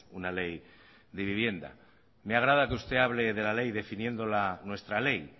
una ley de vivienda me agrada que usted hable de la ley definiéndola nuestra ley